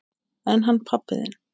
En hann pabbi þinn?